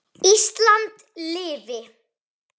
Ísland lifi.